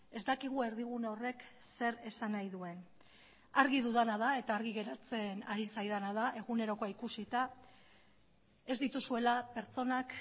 ez dakigu erdigune horrek zer esan nahi duen argi dudana da eta argi geratzen ari zaidana da egunerokoa ikusita ez dituzuela pertsonak